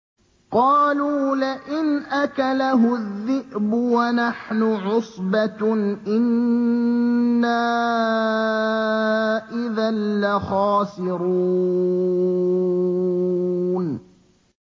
قَالُوا لَئِنْ أَكَلَهُ الذِّئْبُ وَنَحْنُ عُصْبَةٌ إِنَّا إِذًا لَّخَاسِرُونَ